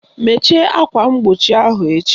Mechie akwa mgbochi ahụ echi!